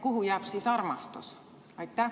Kuhu jääb siis armastus?